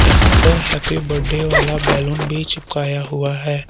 यहां पर happy birthday वाला बैलून भी चिपकाया हुआ है।